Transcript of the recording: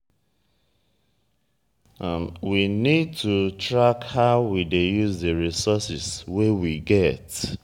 we need to track how we we dey use di resources wey we get